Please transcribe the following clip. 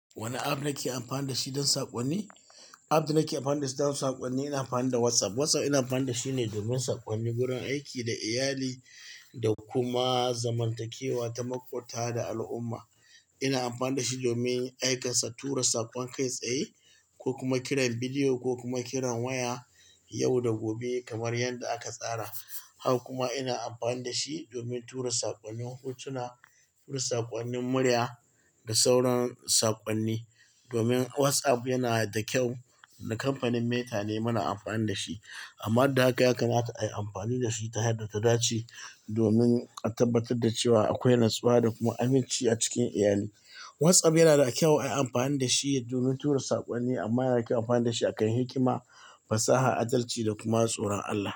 Wane app nake amfani da shi don saƙonni? App da nake amfani da shi don saƙonni, ina amfani da WhatsApp. WhatsApp ina amfani da shi ne domin saƙonni, wurin aiki da iyali da kuma zamantakewa, taimakota da al'umma. Ina amfani da shi domin aikansa, tura saƙon kai tsaye ko kuma kiran bidiyo ko kuma kiran waya yau da gobe kamar yadda aka tsara. Haka kuma ina amfani da shi domin tura saƙonnin hotuna, tura saƙonnin murya da sauran saƙonni. Domin WhatsApp yana da kyau, da kamfanin Meta ne muna amfani da shi. Amma duk da haka, yakamata ayi amfani da shi ta hanyar tadace domin a tabbatar da cewa akwai natsuwa da kuma aminci a cikin iyali. WhatsApp yana da kyau ayi amfani da shi domin tura saƙonni, amma yana kyau ayi amfani da shi akan hikima, fasaha, adalci da kuma tsoron Allah.